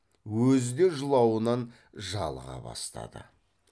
өзі де жылауынан жалыға бастады